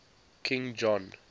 king john